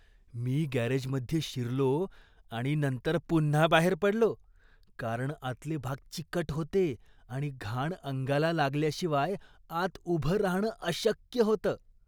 मी गॅरेजमध्ये शिरलो आणि नंतर पुन्हा बाहेर पडलो, कारण आतले भाग चिकट होते आणि घाण अंगाला लागल्याशिवाय आत उभं राहणं अशक्य होतं.